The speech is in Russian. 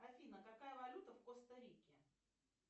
афина какая валюта в коста рике